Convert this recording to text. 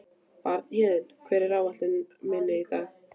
Bjarnhéðinn, hvað er á áætluninni minni í dag?